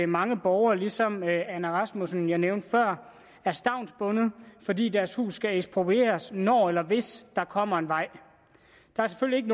mange borgere ligesom anna rasmussen som jeg nævnte før er stavnsbundet fordi deres huse skal eksproprieres når eller hvis der kommer en vej der er selvfølgelig